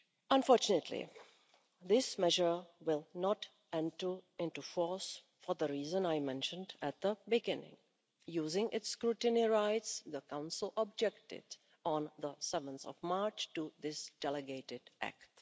Unfortunately, this measure will not enter into force for the reason I mentioned at the beginning using its scrutiny rights, the Council objected on 7 March to this delegated act.